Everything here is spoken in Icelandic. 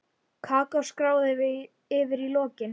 Kakó stráð yfir í lokin.